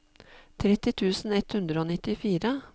tretti tusen ett hundre og nittifire